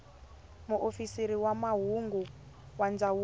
muofisiri wa mahungu wa ndzawulo